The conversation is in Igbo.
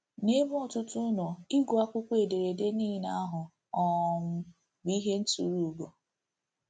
N'ebe ọtụtụ nọ, ịgụ akwụkwọ ederede niile ahụ um bụ ihe nturu ùgò.